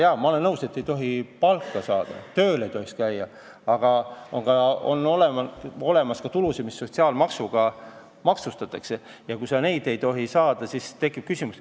Jaa, ma olen nõus, et ei tohi palka saada, tööl ei tohi käia, aga on olemas ka tulusid, mida sotsiaalmaksuga maksustatakse, ja kui sa neid ei tohi saada, siis tekib küsimus.